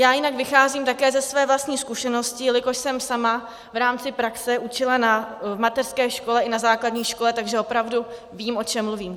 Já jinak vycházím také ze své vlastní zkušenosti, jelikož jsem sama v rámci praxe učila v mateřské škole i na základní škole, takže opravdu vím, o čem mluvím.